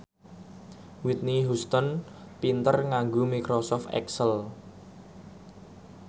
Whitney Houston pinter nganggo microsoft excel